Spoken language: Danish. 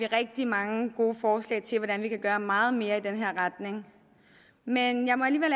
rigtig mange gode forslag til hvordan vi kan gøre meget mere i den retning men jeg må alligevel